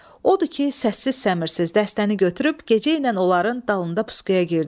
Odur ki, səssiz səmirzis dəstəni götürüb gecəylə onların dalında pusquya girdim.